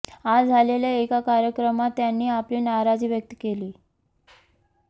आज झालेल्या एका कार्यक्रमात त्यांनी आपली नाराजी व्यक्त केली